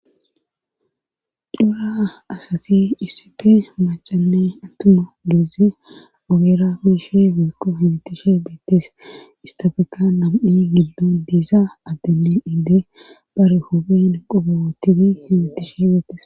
dhura asati iisipe macanne attuma geezi ogera miishi bikko yitishe beettes istafeka nam7i giddon diisa addeni indee bare hophin qobootiti fiitishe beettes